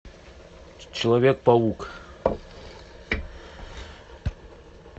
человек паук